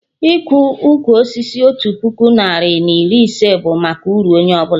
Ịkọ ụkwụ osisi otu puku narị na iri ise bụ maka uru onye ọbụla